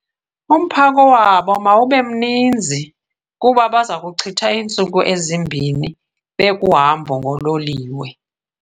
Umphako wabo mawube mninzi kuba baza kuchitha iiintsuku ezimbini bekuhambo ngololiwe.